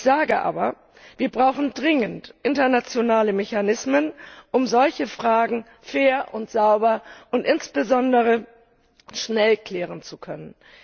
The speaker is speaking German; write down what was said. Ich sage aber Wir brauchen dringend internationale Mechanismen, um solche Fragen fair und sauber und insbesondere schnell klären zu können.